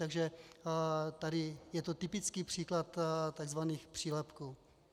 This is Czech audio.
Takže tady je to typický příklad takzvaných přílepků.